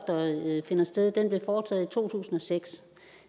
finder sted blev foretaget i to tusind og seks